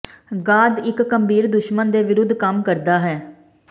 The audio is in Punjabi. ਗਾਦ ਇੱਕ ਗੰਭੀਰ ਦੁਸ਼ਮਣ ਦੇ ਵਿਰੁੱਧ ਕੰਮ ਕਰਦਾ ਹੈ